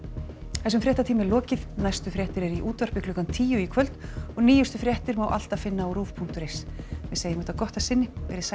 þessum fréttatíma er lokið næstu fréttir eru í útvarpi klukkan tíu í kvöld og nýjustu fréttir má alltaf finna á rúv punktur is en við segjum þetta gott að sinni verið sæl